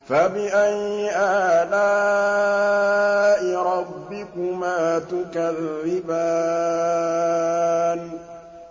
فَبِأَيِّ آلَاءِ رَبِّكُمَا تُكَذِّبَانِ